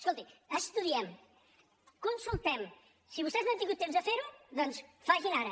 escolti estudiem consultem si vostès no han tingut temps de fer ho doncs facin ho ara